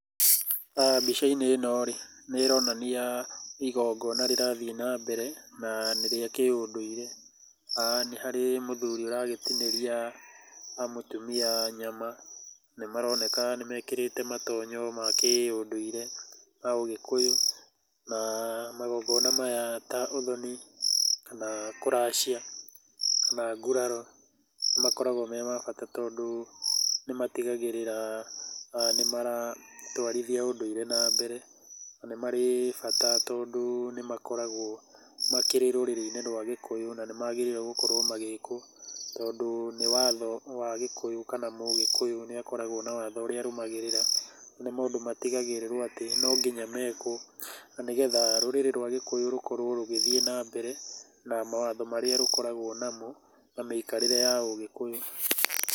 Mbica-inĩ ĩno rĩ nĩ ĩronania igongona rĩrathiĩ na mbere na nĩ rĩa kĩundũire. Nĩ harĩ muthuri ũragĩtinĩria mutumia nyama, nĩ maroneka nĩ mekĩrĩte matonyo ma kĩũndũire ma Ũgikũyũ. Na magongona maya ta ũthoni, kana kũracia, kana nguraro nĩ makoragũo me ma bata tondũ nĩ matigagĩrĩra ni maratũarithia ũndũire na mbere na nĩ marĩ bata tondũ nĩ makoragũo makĩrĩ rũrĩrĩinĩ rwa Gĩkũyũ na nĩ magĩrĩire gũkorwo magĩkũo, tondũ nĩ watho wa Gĩkũyũ kama mũgĩkũyũ nĩ agĩrĩirwo, nĩ akoragwo na watho ũrĩa arũmagĩrĩra na nĩ maũndũ matigagĩrĩrũo atĩ no nginya mekwo, na nĩgetha rũrĩrĩ rwa gĩkũyũ rũkorwo rũgĩthiĩ na mbere na mawatho marĩa rũkoragwo namo na mĩikarĩre ya ũgĩkũyũ.